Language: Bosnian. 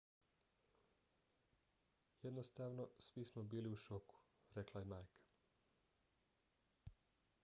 jednostavno svi smo bili u šoku, rekla je majka